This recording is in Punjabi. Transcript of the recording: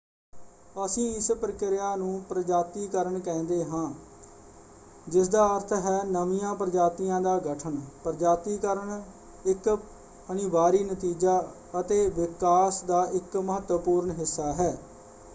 ਅਸੀਂ ਇਸ ਪ੍ਰਕਿਰਿਆ ਨੂੰ ਪ੍ਰਜਾਤੀਕਰਨ ਕਹਿੰਦੇ ਹਾਂ ਜਿਸਦਾ ਅਰਥ ਹੈ ਨਵੀਆਂ ਪ੍ਰਜਾਤੀਆਂ ਦਾ ਗਠਨ। ਪ੍ਰਜਾਤੀਕਰਨ ਇੱਕ ਅਨਿਵਾਰੀ ਨਤੀਜਾ ਅਤੇ ਵਿਕਾਸ ਦਾ ਇੱਕ ਮਹੱਤਵਪੂਰਨ ਹਿੱਸਾ ਹੈ।